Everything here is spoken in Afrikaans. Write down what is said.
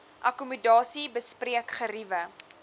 akkommodasie bespreek geriewe